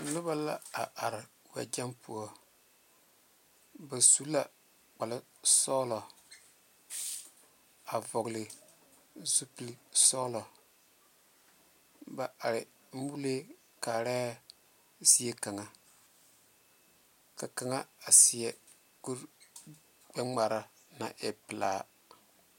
Noba la are weɛ gyeŋ poɔ ba su la kpaare sonsoŋle a vɔle zu peli soɔloŋ ba are mole kaare zie kaŋa ka kaŋa seɛ kore gbɛ ŋmare ko e pɛle.